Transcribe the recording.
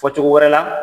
Fɔ cogo wɛrɛ la